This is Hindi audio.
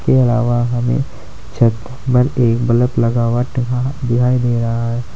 के अलावा हमें छत पर एक बल्ब लगा हुआ टंगा दिखाई दे रहा है।